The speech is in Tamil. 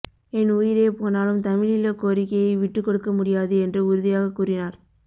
என் உயிரே போனாலும் தமிழீழ கோரிக்கையை விட்டுக் கொடுக்க முடியாது என்று உறுதியாகக் கூறினார்